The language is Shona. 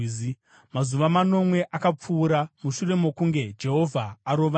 Mazuva manomwe akapfuura mushure mokunge Jehovha arova Nairi.